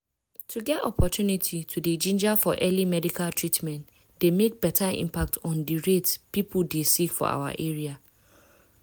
to get opportunity to dey ginger for early medical treatment dey make beta impact on di rate people dey sick for our area.